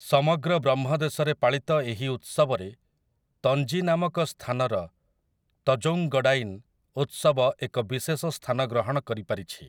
ସମଗ୍ର ବ୍ରହ୍ମଦେଶରେ ପାଳିତ ଏହି ଉତ୍ସବରେ ତଞ୍ଜି ନାମକ ସ୍ଥାନର ତଜୌଂଗଡାଇନ୍ ଉତ୍ସବ ଏକ ବିଶେଷ ସ୍ଥାନ ଗ୍ରହଣ କରିପାରିଛି ।